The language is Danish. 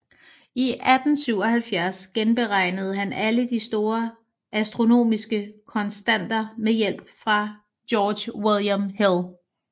I 1877 genberegnede han alle de store astronomiske konstanter med hjælp fra George William Hill